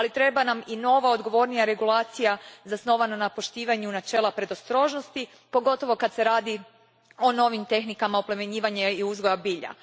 Ali treba nam i nova, odgovornija regulacija zasnovana na poštovanju načela predostrožnosti, pogotovo kad se radi o novim tehnikama oplemenjivanja i uzgoja bilja.